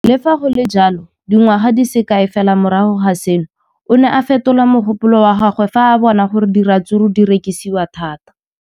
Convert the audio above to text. Le fa go le jalo, dingwaga di se kae fela morago ga seno, o ne a fetola mogopolo wa gagwe fa a bona gore diratsuru di rekisiwa thata.